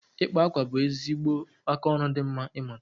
Ịkpa akwa bụ ezigbo aka oru di mma ịmụta